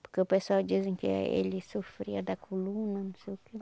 Porque o pessoal dizem que eh ele sofria da coluna, não sei o quê.